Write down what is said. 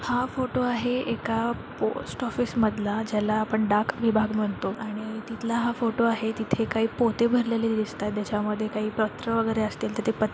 हा फोटो आहे एका पोस्ट ऑफिस मधला ज्याला आपण डाक विभाग म्हणतो आणि तिथला हा फोटो आहे तिथे काही पोते भरलेले दिसतात त्याच्या मध्ये काही पत्र वगैरे असतील तर ते प --